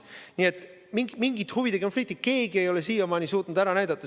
Nii et mingit huvide konflikti keegi ei ole siiamaani suutnud ära näidata.